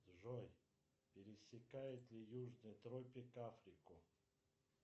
джой пересекает ли южный тропик африку